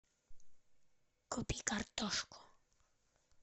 купи картошку